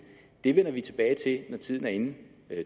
det vender vi tilbage til når tiden er inde